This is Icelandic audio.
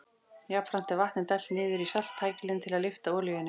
Jafnframt er vatni dælt niður í saltpækilinn til að lyfta olíunni.